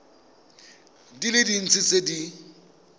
di le dintsi tse di